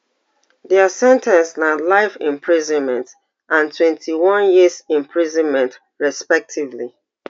dia sen ten ce na life imprisonment and twenty-one years imprisonment respectively